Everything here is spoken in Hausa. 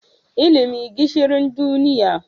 Ilimi Gishiri duniya.